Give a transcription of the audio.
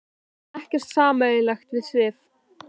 Við eigum ekkert sameiginlegt við Sif.